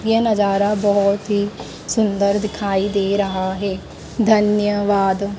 यह नजारा बहुत ही सुंदर दिखाई दे रहा है धन्यवाद।